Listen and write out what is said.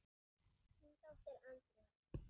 Þín dóttir, Andrea.